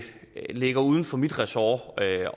ligger uden for mit ressort at